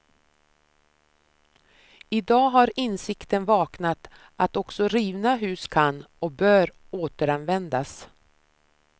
Idag har insikten vaknat att också rivna hus kan, och bör, återanvändas.